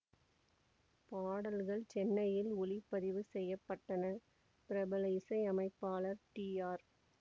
பாடல்கள் சென்னையில் ஒலிப்பதிவு செய்ய பட்டன பிரபல இசையமைப்பாளர் டி ஆர்